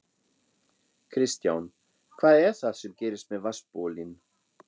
Kristján: Hvað er það sem gerist með vatnsbólin?